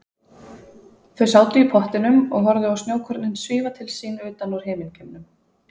Þau sátu í pottinum og horfðu á snjókornin svífa til sín utan úr himingeimnum.